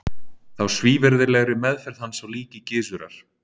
Þá svívirðilegri meðferð hans á líki Gizurar.